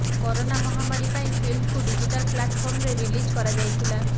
corona ମହାମାରୀ ପାଇଁ ଫିଲ୍ମକୁ ଡିଜିଟାଲ୍ ପ୍ଲାଟଫର୍ମରେ ରିଲିଜ୍ କରାଯାଇଥିଲା